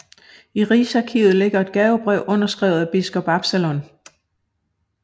I Rigsarkivet ligger et gavebrev underskrevet af biskop Absalon